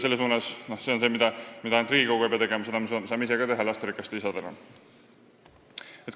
See on asi, mida ei pea tegema ainult Riigikogu, seda saame ka ise lasterikaste isadena teha.